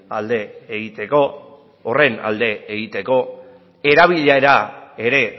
alde egiteko horren alde egiteko erabilera ere